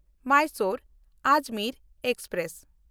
ᱢᱟᱭᱥᱳᱨ–ᱟᱡᱽᱢᱮᱨ express